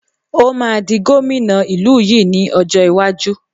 Ó máa di gómìnà ìlú yìí ni ọjọ́ iwájú